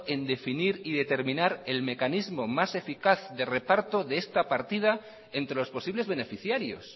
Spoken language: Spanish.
en definir y determinar el mecanismo más eficaz de reparto de esta partida entre los posibles beneficiarios